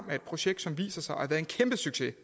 projekt som viser sig at være en kæmpe succes